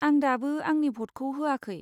आं दाबो आंनि भ'टखौ होआखै।